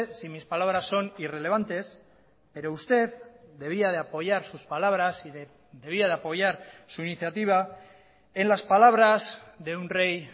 si mis palabras son irrelevantes pero usted debía de apoyar sus palabras y debía de apoyar su iniciativa en las palabras de un rey